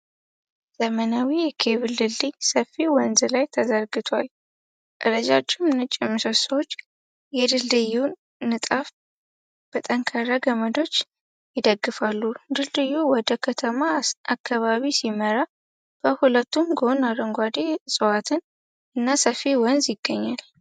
ዘመናዊ የኬብል ድልድይ ሰፊ ወንዝ ላይ ተዘርግቷል። ረጃጅም ነጭ ምሰሶዎች የድልድዩን ንጣፍ በጠንካራ ገመዶች ይደግፋሉ። ድልድዩ ወደ ከተማ አከባቢ ሲመራ በሁለቱም ጎን አረንጓዴ ዕፅዋት እና ሰፊ ወንዝ ይገኛል።